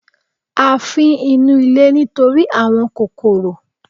A fín inú ilé nítorí àwọn kòròkò